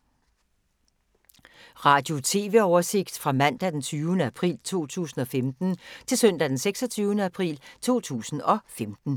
Radio/TV oversigt fra mandag d. 20. april 2015 til søndag d. 26. april 2015